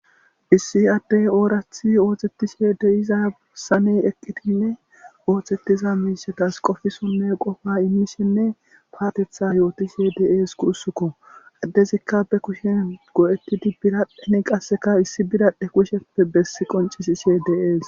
Issi addey oorathi oohtettishe deyiza esane eqqitinne oohtettiza miishatas qofisonne qofa immishenne paatetha yootishe de7es kuussukko addezikka be kushen go7ettidi birapphen qasseka issi bidadhe kusheppe bessi qoncisi she dees.